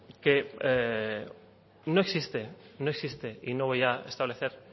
que no existe no existe y no voy a establecer